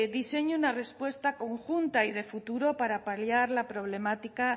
diseña una respuesta conjunta y de futuro para paliar la problemática